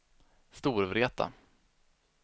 Storvreta